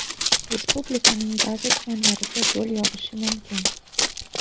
Respublikaning ba’zi tumanlariga do‘l yog‘ishi mumkin.